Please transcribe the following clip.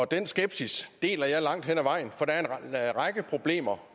den skepsis deler jeg langt hen ad vejen for der er en række problemer